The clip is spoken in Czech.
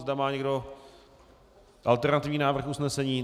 Má někdo alternativní návrh usnesení?